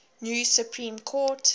new supreme court